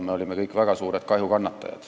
Me kõik kannatasime väga suurt kahju.